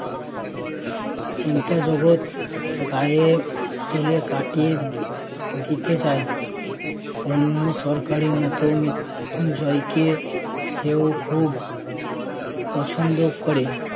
চিন্তা জগত গায়ে তুলে কাটিয়ে দি~ দিতে চায়। অন্য সরকারের মতো মৃত্যুঞ্জয়কে সেও খুব পছন্দ করে